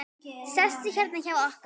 Sestu hérna hjá okkur!